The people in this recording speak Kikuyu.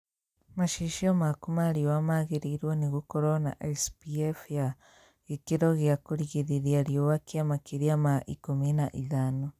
Macicio maku ma riũa magĩrĩirwo nĩ gũkorwo na SPF ya gĩkĩro gĩa kũrigĩrĩria riũa kia makĩria ma ikũmi na ithano